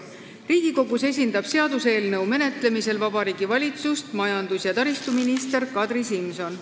Riigikogus esindab seaduseelnõu menetlemisel Vabariigi Valitsust majandus- ja taristuminister Kadri Simson.